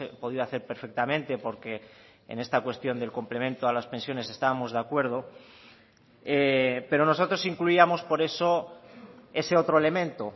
podido hacer perfectamente porque en esta cuestión del complemento a las pensiones estábamos de acuerdo pero nosotros incluíamos por eso ese otro elemento